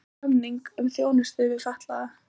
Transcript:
Gerðu samning um þjónustu við fatlaða